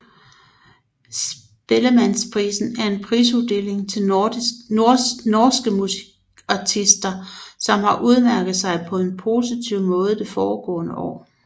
Spellemannprisen er en prisuddeling til norske musikartister som har udmærket sig på en positiv måde det foregående år